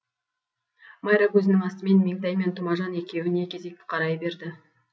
майра көзінің астымен меңтай мен тұмажан екеуіне кезек қарай берді